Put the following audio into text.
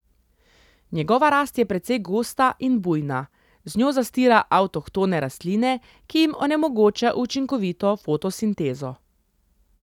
Njegova rast je precej gosta in bujna, z njo zastira avtohtone rastline, ki jim onemogoča učinkovito fotosintezo.